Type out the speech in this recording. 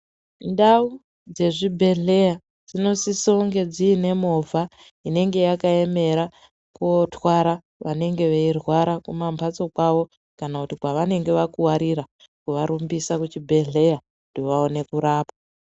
Ndau dzezvibhedhlera dzinosise kunge dziine movha inenge yakaemera kotwara vanenge veirwara kumamhatso kwawo kana kuti kwevanenge vakuwarira, kuvarumbisa kuchibhdhera kuti vaone kurapwa.